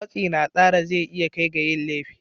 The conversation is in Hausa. Matsi na tsara zai iya kai ga yin laifi